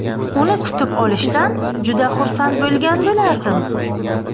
Uni kutib olishdan juda xursand bo‘lgan bo‘lardim.